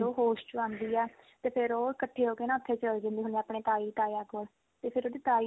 ਉਹ ਹੋਸ਼ ਚ ਆਉਂਦੀ ਆ ਤੇ ਫਿਰ ਉਹ ਇਕੱਠੇ ਹੋਕੇ ਉੱਥੇ ਚਲ ਜਾਂਦੇ ਹੁੰਦੇ ਆ ਆਪਣੇ ਤਾਈ ਤਾਇਆ ਕੋਲ ਤੇ ਫਿਰ ਉਹਦੀ ਤਾਈ